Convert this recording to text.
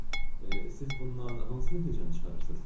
Siz bundan hansı nəticəni çıxarırsız?